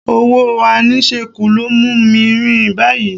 Owó àìníṣẹ́kù ló mú mi ń rìn báyìí